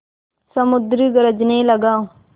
समुद्र गरजने लगा